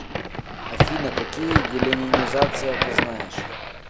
афина какие деленинизация ты знаешь